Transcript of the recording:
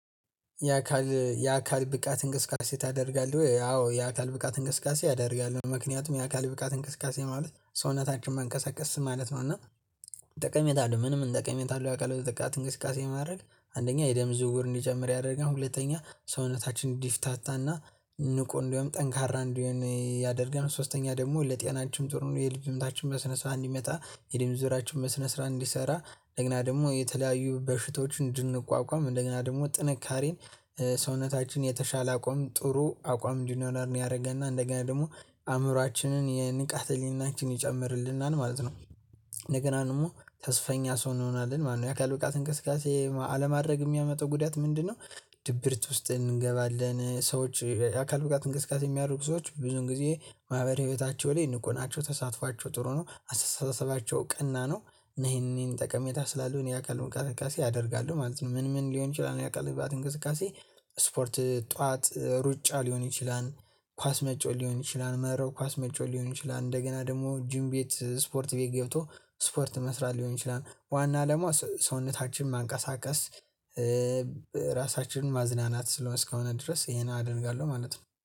የአካል የአካል ብቃት እንቅስቃሴ ታደርጋለህ አዎ የአካል ብቃት እንቅስቃሴ አደርጋለሁ ምክንያቱም የአካል ብቃት እንቅስቃሴ ማለት ሰውነታችን መንቀሳቀስ ማለት ነው እና ጠቀሜታ አለው። ምን ምን እንቅስቃሴ አለው ያውቃል በጠቃት እንቅስቃሴ ማድረግ አንደኛ የደም ዝውውር እንዲጀምር ያደረገን ሁለተኛ ሰውነታችንን እዲፍታታና ንቁ እንዲውም ጠንካራ እንዲሆን ያደርጋል ሶስተኛ ደግሞ ለጤናችን ጥሩ ነው። የልብ ምታችን በስነ ስራ እንዲመጣ የደም ስራችን በስነ ስርዓት እንዲሰራ ለግና ደግሞ የተለያዩ በሽቶች እንድንቋቋም እንደገና ደግሞ ጥንካሬን ሰውነታችን የተሻለ አቋም ጥሩ አቋም እንዲኖረን ያደረገና እንደገና ደግሞ አእምሮአችንን የንቃት ህልና እንቺን ይጨምርልናል ማለት ነው። እንደገና ደግሞ ተስፈኛ ሰው እንሆናለን ማነው የአካል ብቃት እንቅስቃሴ አለማድረግ የሚያመጣው ጉዳት ምንድነው? ድብርት ውስጥ እንገባለን ሰዎች አካል ብቃት እንቅስቃሴ የሚያደርጉ ሰዎች ብዙን ጊዜ ማህበራዊ ህይወታቸው ላይ ንቁ ናቸው ተሳትፏቸው ጥሩ ነው አስተሳሰባቸው ቀና ነው። ነይ ይሄንን ጠቀሜታ ስላሉ እኔ አውቃለሁ እንቅስቃሴ ያደርጋሉ ማለት ነው ምን ምን ሊሆን ይችላል? የአካል ብቃት እንቅስቃሴ ስፖርት ጠዋት ሩጫ ሊሆን ይችላል። ኳስ መጫወት ወት ሊሆን ይችላል። መረብ ኳስ መጫወት ሊሆን ይችላል። እንደገና ደግሞ ጁም ቤት ስፖርት ቤት ገብቶ ስፖርት መስራት ሊሆን ይችላል። ዋና ለመሆን ሰውነታችን ማንቀሳቀስ ራሳችንን ማዝናናት ስለሆነ እስከሆነ ድረስ ይሄን አደርጋለሁ ማለት ነው